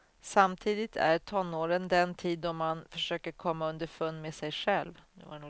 Samtidigt är tonåren den tid då man försöker komma underfund med sig själv.